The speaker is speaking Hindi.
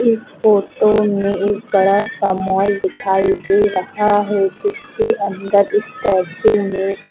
इस फोटो में एक बड़ा सा माल दिखाई दे रहा है जिसके अंदर स्टैचू में--